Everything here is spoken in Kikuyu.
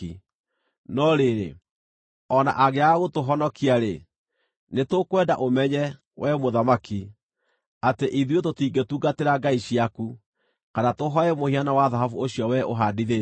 No rĩrĩ, o na angĩaga gũtũhonokia-rĩ, nĩtũkwenda ũmenye, wee mũthamaki, atĩ ithuĩ tũtingĩtungatĩra ngai ciaku, kana tũhooe mũhianano wa thahabu ũcio wee ũhandithĩtie.”